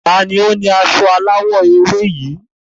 Ta ni ó ni aṣọ eléwé yìí?